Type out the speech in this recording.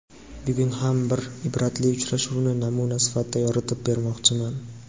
Bugun ham bir ibratli uchrashuvni namuna sifatida yoritib bermoqchiman.